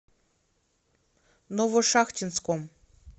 новошахтинском